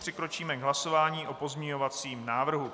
Přikročíme k hlasování o pozměňovacím návrhu.